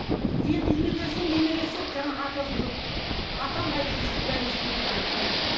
енді үйіне келсе немересі жаңағы атасы жоқ дейді атам қайда десе дейді айтпайды